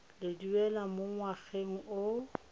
le duela mo ngwageng o